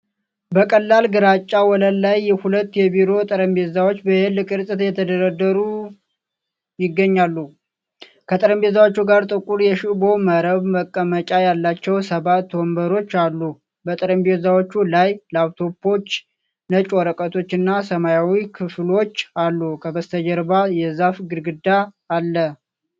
በቀላል ግራጫ ወለል ላይ ሁለት የቢሮ ጠረጴዛዎች በ "L" ቅርፅ የተደረደሩ ይገኛሉ። ከጠረጴዛዎቹ ጋር ጥቁር የሽቦ መረብ መቀመጫ ያላቸው ሰባት ወንበሮች አሉ። በጠረጴዛዎች ላይ ላፕቶፖች፣ ነጭ ወረቀቶች እና ሰማያዊ ክፍፍሎች አሉ። ከበስተጀርባ የዛፍ ግድግዳ አለ።